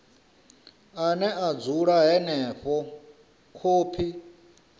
ane a dzula henefho khophi